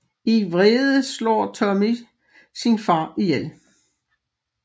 I vrede slår Tonny sin far ihjel